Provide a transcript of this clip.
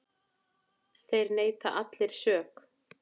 Þeir neita allir sök.